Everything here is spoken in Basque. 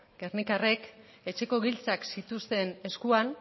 gernikarrek etxeko giltzak zituzten eskuan